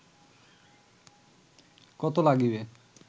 কত লাগিবে